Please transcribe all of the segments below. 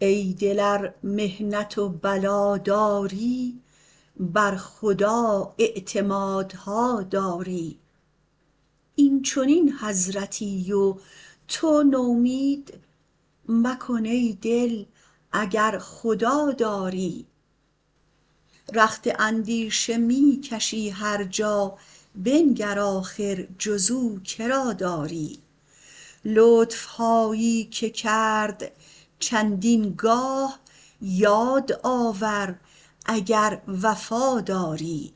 ای دلزار محنت و بلا داری بر خدا اعتمادها داری اینچنین حضرتی و تو نومید مکن ای دل اگر خدا داری رخت اندیشه می کشی هرجا بنگر آخر جز او کرا داری لطفهایی که کرد چندین گاه یاد آور اگر وفاداری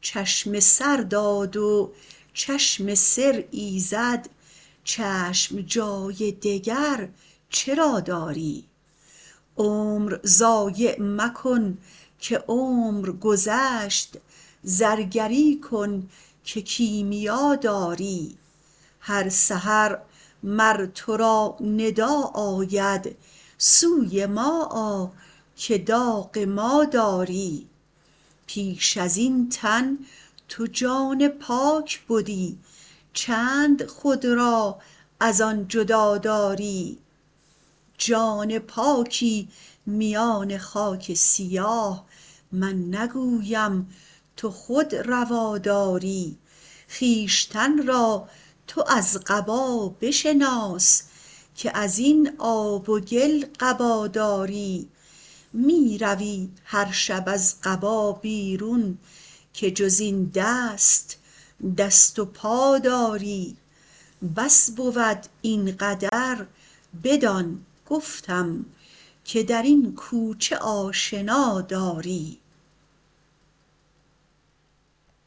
چشم سر داد و چشم سر ایزد چشم جای دگر چرا داری عمر ضایع مکن که عمر گذشت زرگری کن که کیمیا داری هر سحر مر ترا ندا آید سو ما آ که داغ ما داری پیش ازین تن تو جان پاک بدی چند خود را ازان جدا داری جان پاکی میان خاک سیاه من نگویم تو خود روا داری خویشتن را تو از قبا بشناس که ازین آب و گل قبا داری می روی هر شب از قبا بیرون که جز این دست دست و پا داری بس بود این قدر بدان گفتم که درین کوچه آشنا داری